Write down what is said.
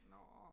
Nå